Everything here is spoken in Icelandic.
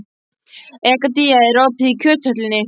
Egedía, er opið í Kjöthöllinni?